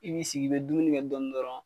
I b'i sigi i be dumuni kɛ dɔɔnin dɔrɔn.